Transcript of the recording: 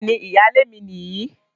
Bẹ́ẹ̀ni, ìyálé mi nìyí